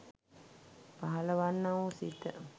පහළවන්නා වූ සිත